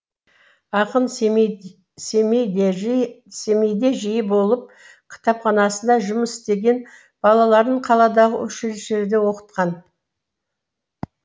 ақын семейде жиі болып кітапханасында жұмыс істеген балаларын қаладағы училищелерде оқытқан